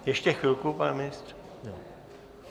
Ještě chvilku, pane ministře.